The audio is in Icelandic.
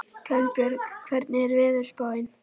Kolbjörg, hvernig er veðurspáin?